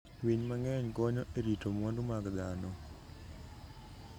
Winy mang'eny konyo e rito mwandu mag dhano.